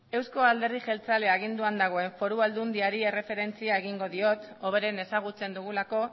euzko alderdi jeltzailea agianduan dagoen foru aldundiari erreferentzia egingo diot hoberen ezagutzen dugulako